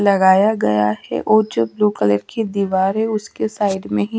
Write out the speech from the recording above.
लगाया गया है वो जो ब्लू कलर की दिवार है उसके साइड में ही --